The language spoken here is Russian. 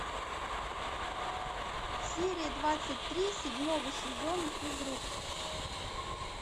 серия двадцать три седьмого сезона физрук